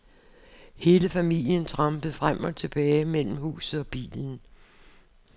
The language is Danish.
Hele familien trampede frem og tilbage mellem huset og bilen.